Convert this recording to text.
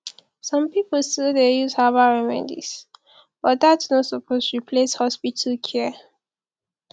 some pipo still dey use herbal remedies but dat no suppose replace hospital care